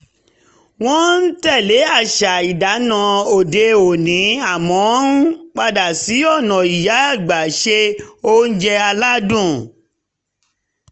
wọ́n ń tẹ̀lé àṣà ìdáná òde òní àmọ́ ń padà sí ọ̀nà ìyá àgbà ṣe oúnjẹ aládùn